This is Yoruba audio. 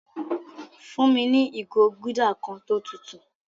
Fún mi ni igo gúldà kan tó tùtù